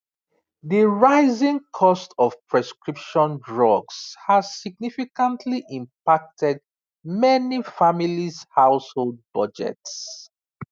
the rising cost of prescription drugs has significantly impacted many families household budgets